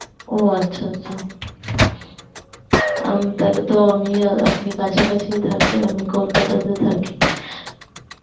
ও আচ্ছা আচ্ছা আম তাহলেত আমি আর আপনি কাছা কাছিই থাকি, আমি Kolkata তে থাকি